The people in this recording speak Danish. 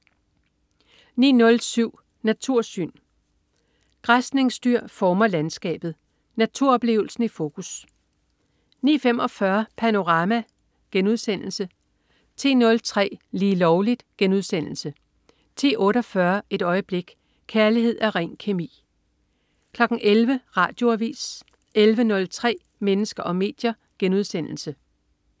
09.07 Natursyn. Græsningsdyr former landskabet. Naturoplevelsen i fokus 09.45 Panorama* 10.03 Lige Lovligt* 10.48 Et øjeblik. Kærlighed er ren kemi! 11.00 Radioavis 11.03 Mennesker og medier*